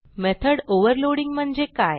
method overloading म्हणजे काय